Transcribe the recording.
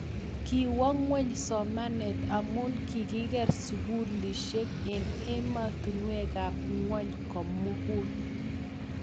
kiwo ng'weny somanet amu kikier sukulisiek eng' emotinwekab ng'ony ko mugul